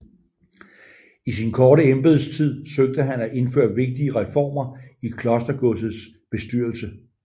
I sin korte embedstid søgte han at indføre vigtige reformer i klostergodsets bestyrelse